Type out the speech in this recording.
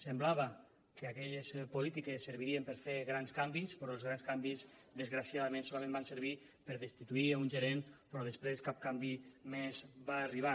semblava que aquelles polítiques servirien per fer grans canvis però els grans canvis desgraciadament solament van servir per destituir un gerent però després cap canvi més va arribar